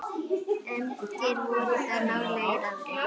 Engir voru þar nálægir aðrir.